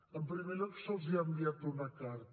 en primer lloc se’ls ha enviat una carta